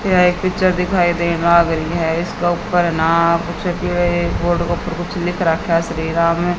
यह एक पिक्चर दिखाई देन लाग रही है इसका ऊपर ना कुछ कि बोर्ड के ऊपर कुछ लिख रखा है श्री राम।